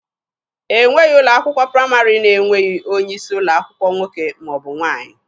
E nweghị ụlọ akwụkwọ praịmarị na-enweghị onye isi ụlọ akwụkwọ nwoke ma ọ bụ nwaanyị.